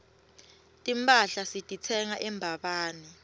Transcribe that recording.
timphahla sititsenga embabane